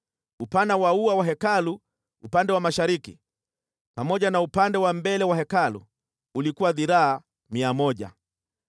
Upana wa ua wa Hekalu upande wa mashariki, pamoja na upande wa mbele wa Hekalu ulikuwa dhiraa mia moja.